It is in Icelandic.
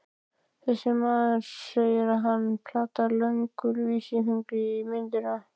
Þessi maður, sagði hann og potaði löngum vísifingri í myndina.